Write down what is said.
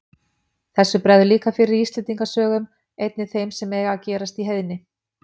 Þessu bregður líka fyrir í Íslendinga sögum, einnig þeim sem eiga að gerast í heiðni.